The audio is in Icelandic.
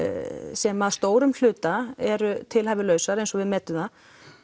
sem að stórum hluta eru tilhæfulausar eins og við metum það